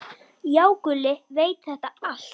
Já, Gulli veit þetta allt.